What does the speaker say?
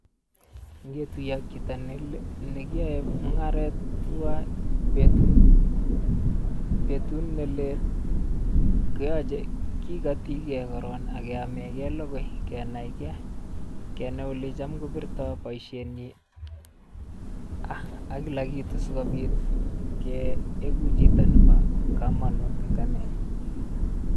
Ngetuye ak chito ne le negiyoe mung'aret tuan betut betut ne lel koyoche kikotikei koron ak keamenkei logoi kenaikei kenai olecham kobirto boisienyin ak kila kitu sikobit keikun chito nebo komonut eng ane.